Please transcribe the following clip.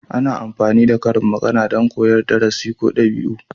Ana amfani da karin magana don koyar da darasi ko dabi'u.